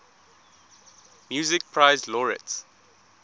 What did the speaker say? music prize laureates